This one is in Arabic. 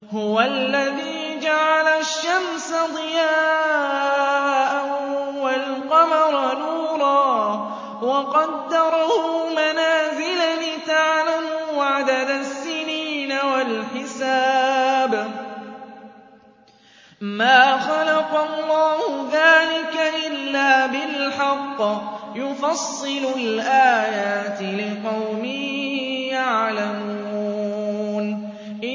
هُوَ الَّذِي جَعَلَ الشَّمْسَ ضِيَاءً وَالْقَمَرَ نُورًا وَقَدَّرَهُ مَنَازِلَ لِتَعْلَمُوا عَدَدَ السِّنِينَ وَالْحِسَابَ ۚ مَا خَلَقَ اللَّهُ ذَٰلِكَ إِلَّا بِالْحَقِّ ۚ يُفَصِّلُ الْآيَاتِ لِقَوْمٍ يَعْلَمُونَ